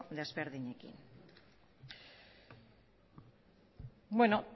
ezberdinekin la